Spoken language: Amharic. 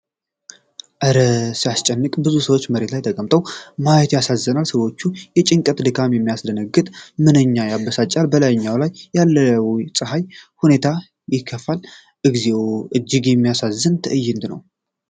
እረ ሲያስጨንቅ! ብዙ ሰዎች መሬት ላይ ተቀምጠው ማየት ያሳዝናል። የሰዎቹ ጭንቀትና ድካም ሲያስደነግጥ! ምንኛ ያበሳጫል! በላያቸው ላይ ያለው ፀሐይ ሁኔታውን ያከፋዋል። እግዚኦ! እጅግ የሚያሳዝን ትዕይንት ነው!